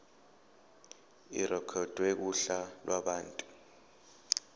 irekhodwe kuhla lwabantu